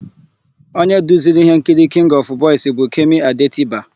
Onye duziri íhénkiri Kịngị ọfụ Bọis bụ Kemi Adetiba.